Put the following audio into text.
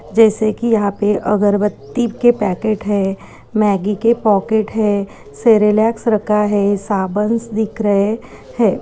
जैसे की यहाँ पे अगरबत्ती के पैकेट है मैगी के पाकेट है सेरेलेक्स रखा है साबंस दिख रहे हैं।